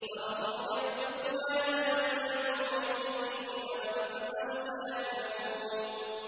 ذَرْهُمْ يَأْكُلُوا وَيَتَمَتَّعُوا وَيُلْهِهِمُ الْأَمَلُ ۖ فَسَوْفَ يَعْلَمُونَ